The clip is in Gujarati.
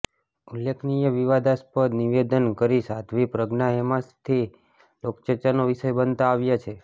ઉલ્લેખનીય વિવાદાસ્પદ નિવેદનો કરી સાધ્વી પ્રજ્ઞા હેમશાથી લોકચર્ચાનો વિષય બનતા આવ્યા છે